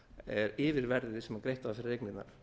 er yfirverðið sem greitt var fyrir eignina